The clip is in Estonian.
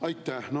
Aitäh!